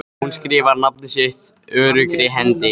Hún skrifar nafnið sitt öruggri hendi.